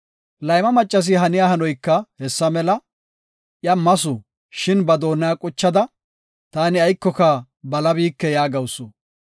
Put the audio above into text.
Layma maccasi haniya hanoyka hessa mela; Iya masu; shin ba doona quchada, “Taani aykoka balabiike” yaagawusu.